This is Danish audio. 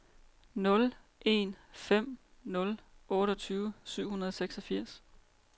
nul en fem nul otteogtyve syv hundrede og seksogfirs